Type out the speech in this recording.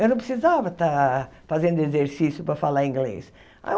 Eu não precisava estar fazendo exercício para falar inglês. Aí eu